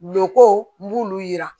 Loko n b'olu yira